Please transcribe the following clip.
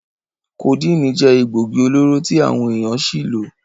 Codeine je egbogi-oloro ti awon eyan si lo.